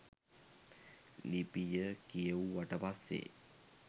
ලිපිය කියෙව්වට පස්සෙ